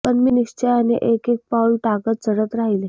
पण मी निश्चयाने एक एक पाउल टाकत चढत राहिले